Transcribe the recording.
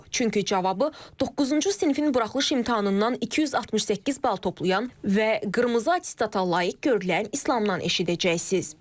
Çünki cavabı doqquzuncu sinifin buraxılış imtahanından 268 bal toplayan və qırmızı attestata layiq görülən İslamdan eşidəcəksiniz.